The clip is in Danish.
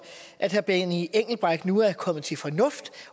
at herre benny engelbrecht nu er kommet til fornuft